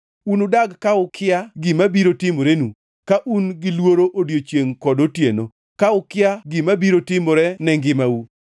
Unudag ka ukia gima biro timorenu; ka un gilworo odiechiengʼ kod otieno, ka ukia gima biro timore ne ngimau.